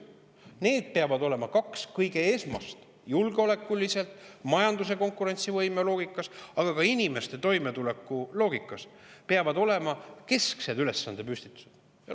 Need peavad olema kaks esmast ja keskset – julgeolekuliselt, majanduse konkurentsivõime loogikas, aga ka inimeste toimetuleku loogikas – ülesandepüstitust.